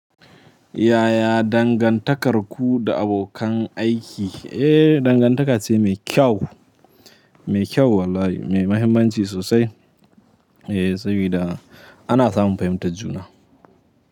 Yaya dangantakarku da abokan aiki? Eh, dangantaka ce mai kyau, mai kyau wallahi, mai mahimmanci sosai. Eh, sabida ana samun fahimtar juna.